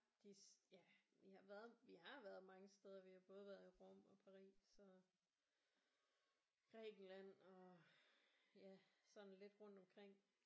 De ja vi har været vi har været mange steder vi har både været i Rom og Paris og Grækenland og ja sådan lidt rundt omkring